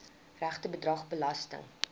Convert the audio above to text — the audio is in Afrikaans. regte bedrag belasting